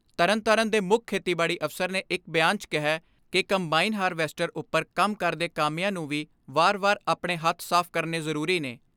ਤਰਨਤਾਰਨ ਦੇ ਮੁੱਖ ਖੇਤੀਬਾੜੀ ਅਫਸਰ ਨੇ ਇਕ ਬਿਆਨ 'ਚ ਕਿਹੈ ਕਿ ਕੰਬਾਈਨ ਹਾਰਵੈਸਟਰ ਉਪਰ ਕੰਮ ਕਰਦੇ ਕਾਮਿਆਂ ਨੂੰ ਵੀ ਵਾਰ ਵਾਰ ਆਪਣੇ ਹੱਥ ਸਾਫ ਕਰਨੇ ਜ਼ਰੂਰੀ ਨੇ।